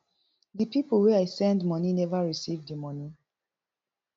di pipo wey i send money neva receive di money